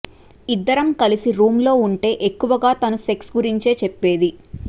ఇద్దరం కలిసి రూమ్ లో ఉంటే ఎక్కువగా తను సెక్స్ గురించే చెప్పేది